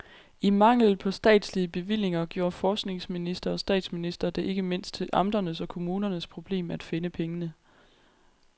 I mangel på statslige bevillinger gjorde forskningsminister og statsminister det ikke mindst til amternes og kommunernes problem at finde pengene.